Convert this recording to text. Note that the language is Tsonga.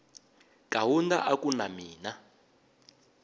kaunda a ku na mina